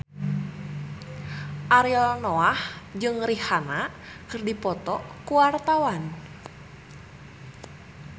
Ariel Noah jeung Rihanna keur dipoto ku wartawan